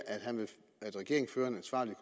at regeringen fører en ansvarlig